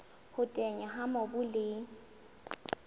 ho teteana ha mobu le